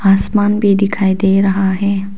आसमान भी दिखाई दे रहा है।